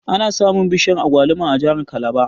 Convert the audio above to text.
Ana samun bishiyar Agwaluma a jahar kalaba